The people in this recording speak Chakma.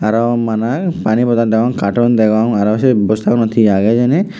arow maney pani bottle dagong carton dagong arow se bosta gunot he aagey hejeni.